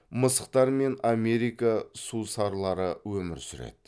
мысықтар мен америка сусарлары өмір сүреді